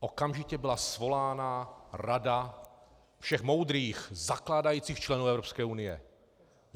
Okamžitě byla svolána rada všech moudrých zakládajících členů Evropské unie.